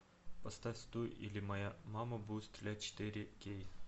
поставь стой или моя мама будет стрелять четыре кей